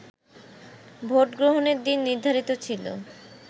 ভোটগ্রহণের দিন নির্ধারিত ছিল